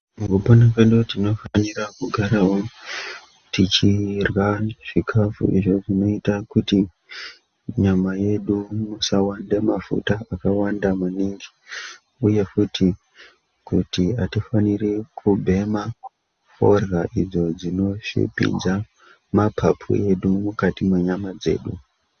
Mukupona kwedu tinofanira kugaravo tichirwa zvikafu izvo zvinoita kuti munyama yedu musawanda mafuta akawanda maningi, uye futi kuti hatifaniri kumbema forya idzo dzinoshipidza mapapu edu mukati menyama dzedu.